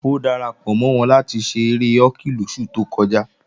Ó darapọ̀ mọ́ wọn láti ṣe eré họ́kì lóṣù tó kọjá